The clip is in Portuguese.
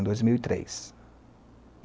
em dois mil e três.